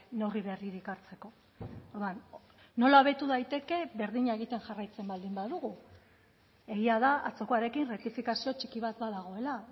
neurri berririk hartzeko orduan nola hobetu daiteke berdina egiten jarraitzen baldin badugu egia da atzokoarekin errektifikazio txiki bat badagoela